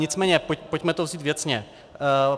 Nicméně pojďme to vzít věcně.